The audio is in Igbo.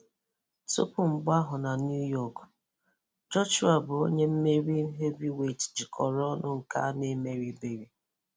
Tupu mgba ahụ na New York, Joshua bụ onye mmeri heavyweight jikọrọ ọnụ nke a n'emeribeghị.